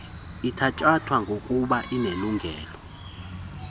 ithatyathwa bgokuba inelungelo